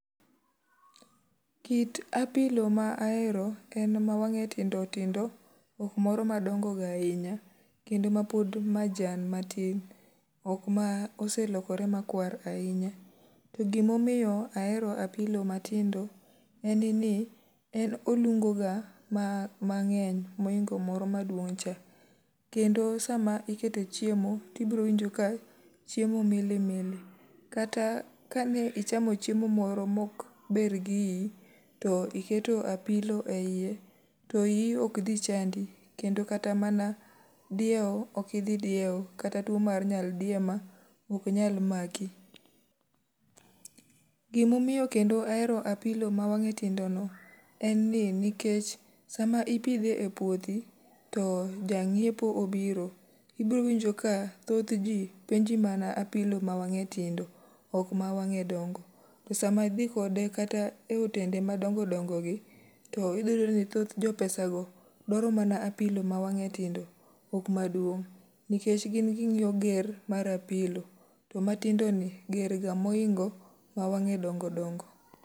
Kit apilo ma ahero en ma wang'e tindo tindo, ok moro ma dongo ga ahinya. Kendo ma pod majan matin, ok ma oselokre makwar ahinya. To gimomiyo ahero apilo matindo, en ni en olungo ga ma mang'eny moingo moro ma duong' cha. Kendo sama ikete chiemo, ti browinjo ka chiemo mili mili. Kata ka ne ichamo chiemo moro mok ber gi iyi, to iketo apilo e iye, to iyi ok dhi chandi. Kendo kata mana diewo okidhi diewo, kata tuo mar nyaldiema ok nyal maki. Gimomiyo kendo ahero apilo ma wang'e tindo no, en ni nikech sama ipidhe e puothi, to jang'iepo obiro, ibro winjo ka thoth ji penji mana apilo ma wang'e tindo. Ok ma wang'e dongo. To sama idhi kode kata e otende ma dongo dongo gi, to idhi yudo ni thoth jo pesa go dwaro mana apilo ma wang'e tindo, ok maduong'. Nikech gin ging'iyo ger mar apilo, to matindo ni ger ga moingo ma wang'e dongo dongo.